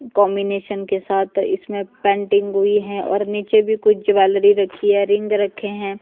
Combination के साथ इसमें पेंटिंग हुई है और नीचे भी कुछ ज्वैलरी रखी है रिंग रखे हैं।